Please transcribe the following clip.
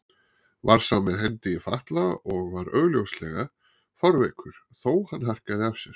Var sá með hendi í fatla og var augsýnilega fárveikur, þó hann harkaði af sér.